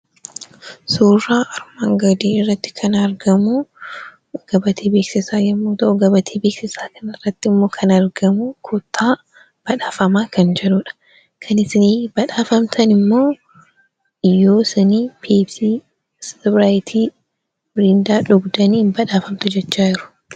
Suuraa armaan gadii irratti kan argamu gabatee beeksisaa yemmuu ta'u, gabatee beeksisaa kanarratti kan argamu, koottaa badhaafamaa kan jedhudha. Kan isin badhaafamtan immoo yoo isin peepsii, ispiraayitii, mirindaa dhugdanii ni badhaafamtu jechaa jiru.